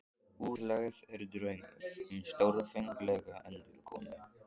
Útlegð er draumur um stórfenglega endurkomu.